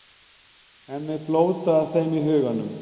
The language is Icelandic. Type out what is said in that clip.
Hemmi blótar þeim í huganum.